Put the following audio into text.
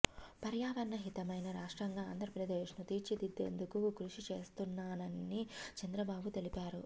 పర్యావరణ హితమైన రాష్ట్రంగా ఆంధ్రప్రదేశ్ను తీర్చిదిద్దేందుకు కృషి చేస్తున్నామని చంద్రబాబు తెలిపారు